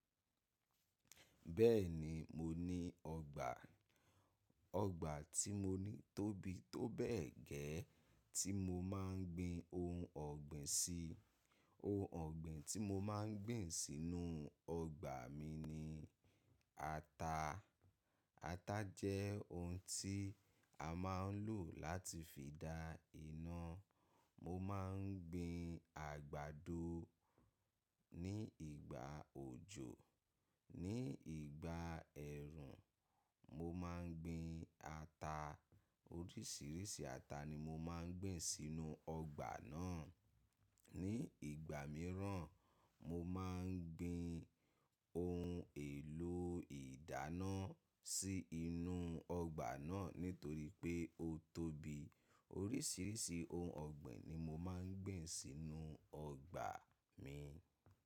Bẹ́ẹ̀ni, mo ní ọgbà. Ọgbà tí mo ní tóbi tó bẹ́ẹ̀ gẹ́ẹ́ tí mo máa ń gbin ohun ọ̀gbìn sí. Ohun ọ̀gbìn tí mo máa ń gbìn sínú ọgbà mi ni ata. Ata jẹ́ ohun tí a máa ń lò láti fi dá iná. Mo máa ń gbin àgbàdo ní ìgbà òjò. Ní ìgbà ẹ̀rùn, mo máa ń gbin ata. Oríṣiríṣi ata ni mo máa ń gbìn sínú ọgbà náà. Ní ìgbà míràn, mo máa ń gbin ohun èlò ìdáná sí inú ọgbà náà nítorí pé ó tóbi. Oríṣiríṣi ohun ọ̀gbìn ni mo máa ń gbìn sínú ọgbà mi.